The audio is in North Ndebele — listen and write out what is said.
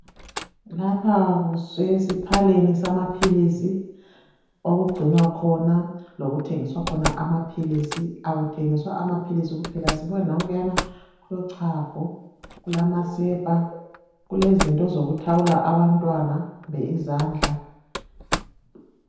Lapha kusesiphaleni samaphilisi okugcinwa khona lokuthengiswa khona amaphilisi, akuthengiswa amaphilisi kuphela sibona nankuyana kulochago, kulamasepa ,kulezinto zokuthawula abantwana kumbe izandla